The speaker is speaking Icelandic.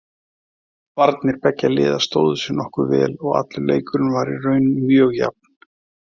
Varnir beggja liða stóðu sig nokkuð vel og allur leikurinn var í raun mjög jafn.